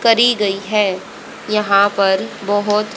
करी गई है यहां पर बहोत--